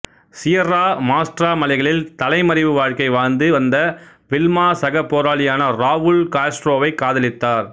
Sierra Maestra மலைகளில் தலைமறைவு வாழ்க்கை வாழ்ந்து வந்த வில்மா சக போராளியான ராவுல் காஸ்ட்ரோவைக் காதலித்தார்